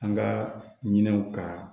An ka ɲinɛw ka